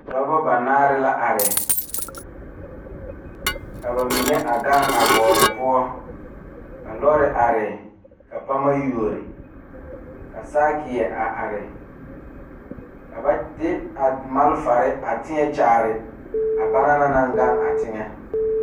Dɔɔba banaare la are ba ba zeŋ leɛ la ba puori ko zie ba naŋ daare bayi zeŋ ta la teŋa bata vɔgle la sapele naŋ waa peɛle bonyene vɔgle sapele naŋ e sɔglɔ ba taa la ba tontuma boma kaa gan a tena.